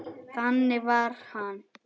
Þannig var hann.